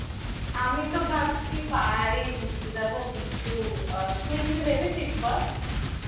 আমি তো ভাবছি পাহাড়েই ঘুরতে যাবো কিন্তু আ তুই কিছু ভেবেছিস বল